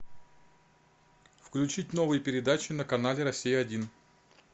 включить новые передачи на канале россия один